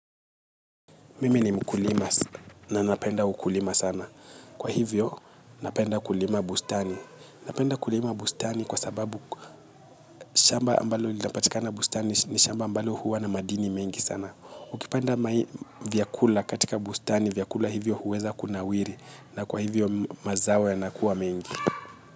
Mimi ni mkulima na napenda ukulima sana. Kwa hivyo napenda kulima bustani. Napenda kulima bustani kwa sababu shamba ambalo linapatikana bustani ni shamba ambalo huwa na madini mengi sana. Ukipanda vyakula katika bustani vyakula hivyo huweza kunawiri na kwa hivyo mazao yanakuwa mengi.